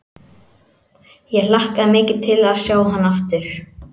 Ég hlakka mikið til að sjá hann aftur.